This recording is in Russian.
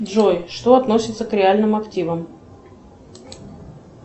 джой что относится к реальным активам